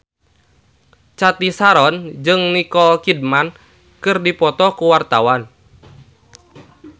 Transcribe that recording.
Cathy Sharon jeung Nicole Kidman keur dipoto ku wartawan